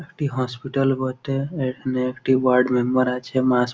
একটি হাসপাতাল বটে এইখানে একটি ওয়ার্ড মেম্বার আছে।